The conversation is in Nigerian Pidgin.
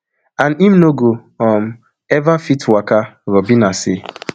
and im no go um ever fit waka robina say